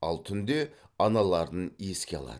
ал түнде аналарын еске алады